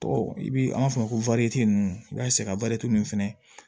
Tɔgɔ i bi an b'a fɔ o ma ko ninnu i b'a sɛ ka nin fɛnɛ